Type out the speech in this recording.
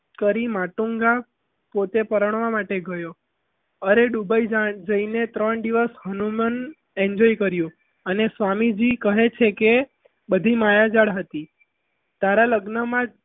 કરી માતુંગા પોતે પરણવા માટે ગયું અરે ત્રણ દિવસ dubai જઈને હનુમાન enjoy કરી અને સ્વામીજી કહે છે કે બધી માયાજાળ હતી તારા લગ્નમાં જ